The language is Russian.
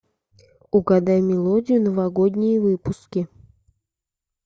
угадай мелодию новогодние выпуски